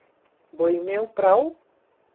Bo imel prav?